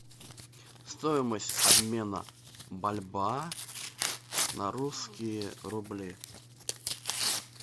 стоимость обмена бальбоа на русские рубли